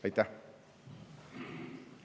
Aitäh!